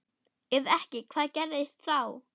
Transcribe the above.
Ef ekki hvað gerist þá?